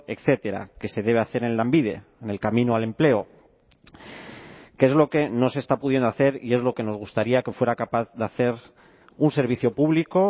etcétera que se debe hacer en lanbide en el camino al empleo que es lo que no se está pudiendo hacer y es lo que nos gustaría que fuera capaz de hacer un servicio público